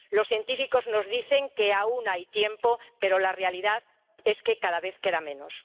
Los científicos nos dicen que aún hay tiempo, pero la realidad es que cada vez queda menos.